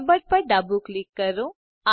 Lambert પર ડાબું click કરો